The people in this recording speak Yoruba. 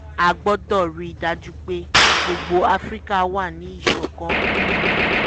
a gbọ́dọ̀ rí i dájú pé gbogbo afrika wà níṣọ̀kan um